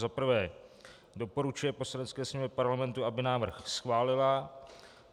za prvé doporučuje Poslanecké sněmovně Parlamentu, aby návrh schválila.